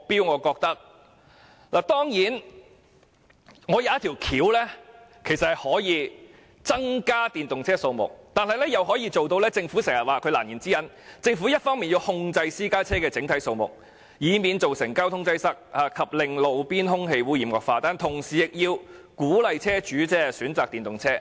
我想到一種方法，既可以增加電動車，亦可以解決政府的難言之忍：一方面要控制私家車的整體數目，以免造成交通擠塞及令路邊空氣污染惡化，但同時亦要鼓勵車主選擇電動車。